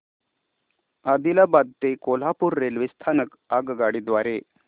आदिलाबाद ते कोल्हापूर रेल्वे स्थानक आगगाडी द्वारे